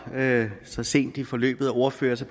så sent i forløbet af ordførere så